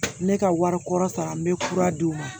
Ne ka wari kɔrɔ sara n bɛ kura d'u ma